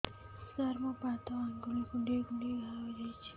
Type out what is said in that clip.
ସାର ମୋ ପାଦ ଆଙ୍ଗୁଳି କୁଣ୍ଡେଇ କୁଣ୍ଡେଇ ଘା ହେଇଯାଇଛି